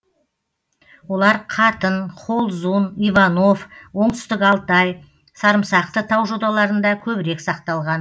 олар қатын холзун иванов оңтүстік алтай сарымсақты тау жоталарында көбірек сақталған